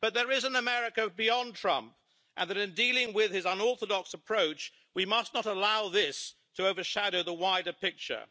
But there is an America beyond Trump and in dealing with his unorthodox approach, we must not allow this to overshadow the wider picture.